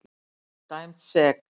Dæmd sek.